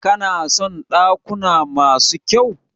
Kana son dakuna masu kyau?